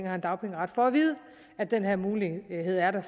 har en dagpengeret får at vide at den her mulighed er der